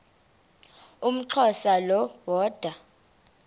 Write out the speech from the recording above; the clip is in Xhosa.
umxhosa lo woda